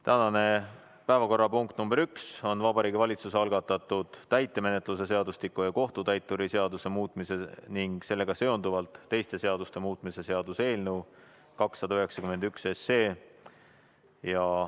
Tänane päevakorrapunkt nr 1 on Vabariigi Valitsuse algatatud täitemenetluse seadustiku ja kohtutäituri seaduse muutmise ning sellega seonduvalt teiste seaduste muutmise seaduse eelnõu 291.